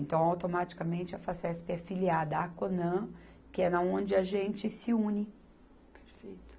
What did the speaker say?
Então, automaticamente, a Facesp é filiada à Conan, que é na onde a gente se une. Perfeito.